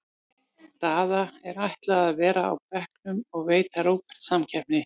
Daða er ætlað að vera á bekknum og veita Róberti samkeppni.